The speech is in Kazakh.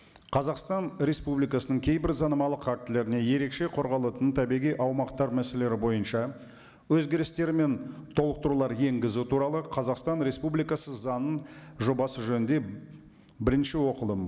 қазақстан республикасының кейбір заңнамалық актілеріне ерекше қорғалатын табиғи аумақтар мәселелері бойынша өзгерістер мен толықтырулар енгізу туралы қазақстан республикасы заңы жобасы жөнінде бірінші оқылым